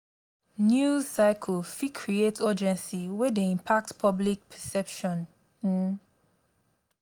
news cycles fit create urgency wey dey impact public perception. um